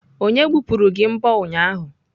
Onye gbupụrụ gị mbọ ụnyahụ?